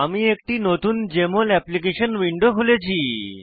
আমি একটি নতুন জেএমএল অ্যাপ্লিকেশন উইন্ডো খুলেছি